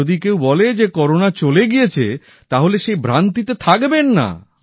আর যদি কেউ বলে যে করোনা চলে গিয়েছে তাহলে সেই ভ্রান্তিতে থাকবেন না